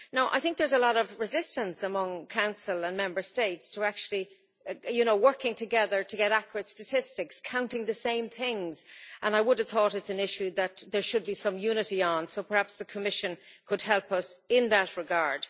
I think there's a lot of resistance among Council and Member States to actually work together to get accurate statistics, counting the same things, and I would have thought it's an issue that there should be some unity on, so perhaps the Commission could help us in that regard.